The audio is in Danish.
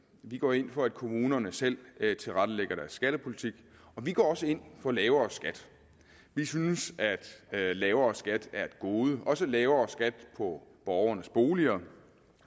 vi går ind for at kommunerne selv tilrettelægger deres skattepolitik og vi går også ind for lavere skat vi synes at lavere skat er et gode også lavere skat på borgernes boliger